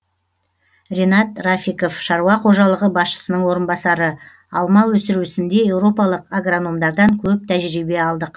ринат рафиков шаруа қожалығы басшысының орынбасары алма өсіру ісінде еуропалық агрономдардан көп тәжірибе алдық